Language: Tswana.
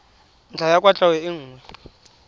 ntlha ya kwatlhao e nngwe